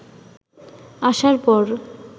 আসার পর